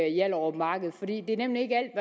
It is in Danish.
hjallerup marked for det er nemlig ikke